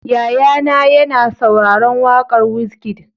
Yaya na ya na sauraron waƙan Wizkid